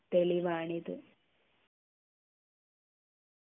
തെളിവാണിത്